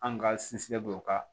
An ka sinsinnen don o kan